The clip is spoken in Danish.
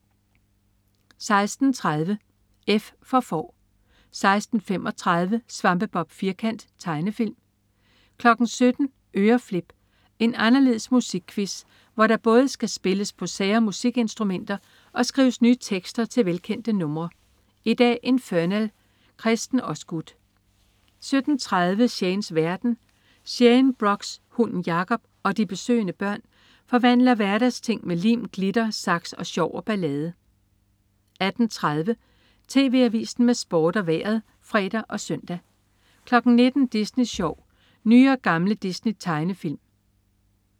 16.30 F for Får 16.35 Svampebob Firkant. Tegnefilm 17.00 Øreflip. En anderledes musikquiz, hvor der både skal spilles på sære musikinstrumenter og skrives nye tekster til velkendte numre. I dag: Infernal. Kresten Osgood 17.30 Shanes verden. Shane Brox, hunden Jacob og de besøgende børn forvandler hverdagsting med lim, glitter, saks, sjov og ballade 18.30 TV Avisen med Sport og Vejret (fre og søn) 19.00 Disney Sjov. Nye og gamle Disney-tegnefilm